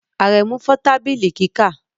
Aremu fọ tabili kika